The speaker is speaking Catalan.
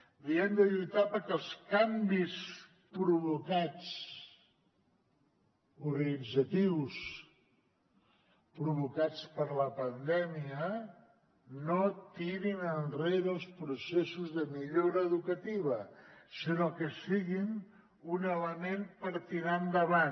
és a dir hem de lluitar perquè els canvis organitzatius provocats per la pandèmia no tirin enrere els processos de millora educativa sinó que siguin un element per tirar endavant